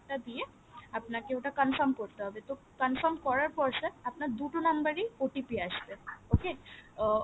টা দিয়ে আপনকে ওটা confirm করতে হবে তো confirm করার পর sir আপনার দুটো number এই OTP আশবে okay আহ